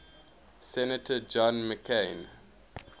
senator john mccain